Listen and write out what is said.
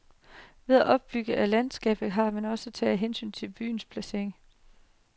Ved opbygningen af landskabet har han også taget hensyn til byens placering.